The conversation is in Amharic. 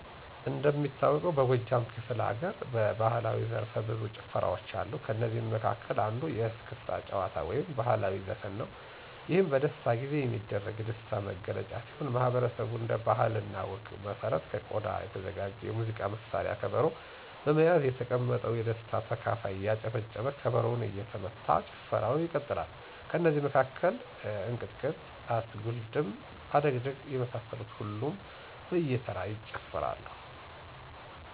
እንደሚታወቀውበጎጃም ክፈለሀገር የባህላዊ ዘርፈብዙ ጭዎታዎች አሉ ከእነዚህም መካከል አንዱ የእስክታ ጭዎታ ወይም ባህላዊ ዘፈን ነው ይህም በደስታ ጊዜ የሚደረግ የደስታ መገለጫ ሲሆን ማህበረሰቡ እንደ ባህለ እና ወግ መሰረት ከቆዳ የተዘጋጅ የሙዚቃ መሳርያ ከበሮ በመያዝ የተቀመጠው የደስታ ተካፋይ እያጨበጨበ ከበሮው እየተመታ ጭፈራው ይቀጥላል። ከእነዚህ መካከል እንቅጥቅጥ፣ እስጉልድም፣ አደግድግ፣ የመሳሰሉትን ሁሉም በየተራ ይጨፍራል።